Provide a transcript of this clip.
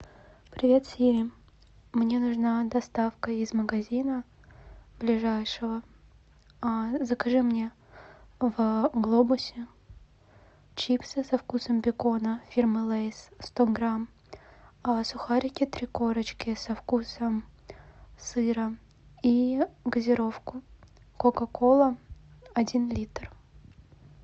привет сири мне нужна доставка из магазина ближайшего закажи мне в глобусе чипсы со вкусом бекона фирмы лэйс сто грамм сухарики три корочки со вкусом сыра и газировку кока кола один литр